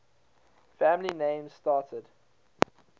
family names started